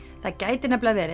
það gæti nefnilega verið